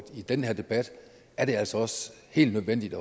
i den her debat er det altså også helt nødvendigt